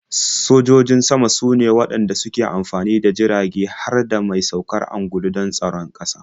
Sojojin sama sune waɗanda suke amfani da jirage har da mai saukar ungulu don tsaron ƙasa.